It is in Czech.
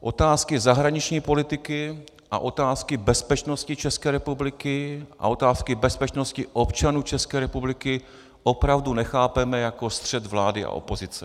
Otázky zahraniční politiky a otázky bezpečnosti České republiky a otázky bezpečnosti občanů České republiky opravdu nechápeme jako střet vlády a opozice.